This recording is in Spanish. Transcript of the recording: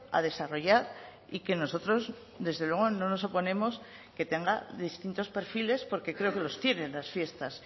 a desarrollar y que nosotros desde luego no nos oponemos que tenga distintos perfiles porque creo que los tienen las fiestas